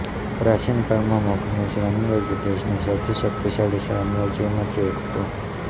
પ્રાચીન કાળમાં મગધનું સામ્રાજ્ય દેશના સૌથી શક્તિશાળી સામ્રાજ્યોમાંથી એક હતું